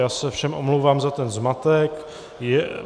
Já se všem omlouvám za ten zmatek.